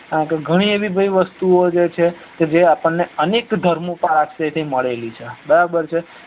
ગણી એવી ભાઈ વસ્તુઓજે છે જે આપણને અનેક ધર્મો પાસે થી મળેલી છ બરાબર છ